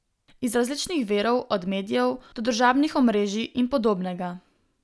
Iz različnih virov, od medijev, do družabnih omrežij in podobnega.